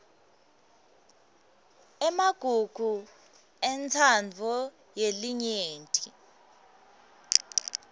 emagugu entsandvo yelinyenti